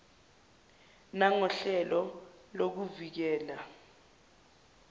nangohlelo lokuvi kela